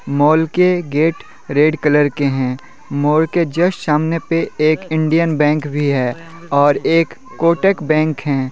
Mall के gate red colour के हैं मॉल के जस्ट सामने पे एक इंडियन बैंक भी हैं और एक कोटक बैंक हैं।